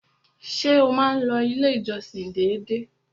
Ṣé o má n lọ ilé ìjọsìn dédé?